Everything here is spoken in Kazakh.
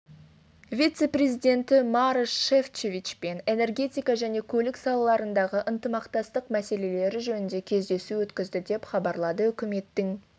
вице-президенті марош шефчовичпен энергетика және көлік салаларындағы ынтымақтастық мәселелері жөнінде кездесу өткізді деп хабарлады үкіметінің